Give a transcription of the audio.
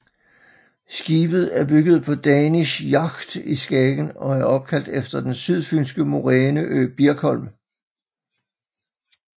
Skibet er bygget på Danish Yacht i Skagen og er opkaldt efter den sydfynske moræneø Birkholm